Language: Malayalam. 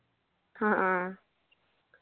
ആ ഹാ